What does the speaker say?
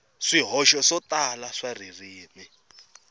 swihoxo swo tala swa ririmi